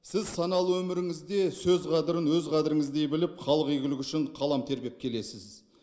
сіз саналы өміріңізде сөз қадірін өз қадіріңіздей біліп халық игілігі үшін қалам тербеп келесіз